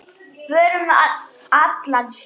Förum um allan sjó.